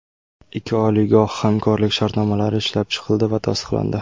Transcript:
Ikki oliygoh hamkorlik shartnomalari ishlab chiqildi va tasdiqlandi.